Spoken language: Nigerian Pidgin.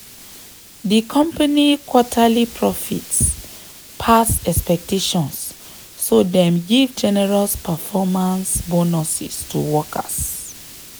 di company quarterly profits pass expectations so dem give generous performance bonuses to workers.